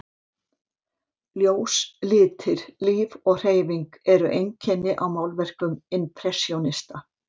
Ljós, litir, líf og hreyfing eru einkenni á málverkum impressjónista.